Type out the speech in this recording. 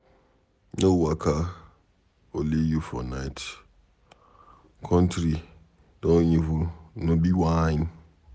No waka only you for night, country don evil no be whine.